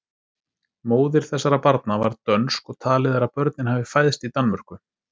Móðir þessara barna var dönsk og talið er að börnin hafi fæðst í Danmörku.